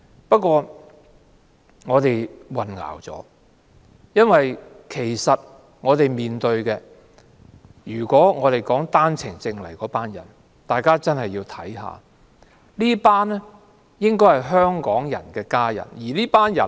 不過，我們混淆了，因為我們面對的問題，並不是持單程證來港的人造成的，大家真的要看清楚，這些應該是香港人的家人。